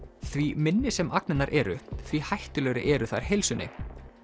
því minni sem eru því hættulegri eru þær heilsunni